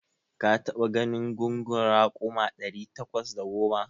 Ka taɓa ganin gungun raƙuma ɗari takwas da goma?